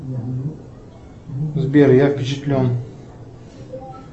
сбер я впечатлен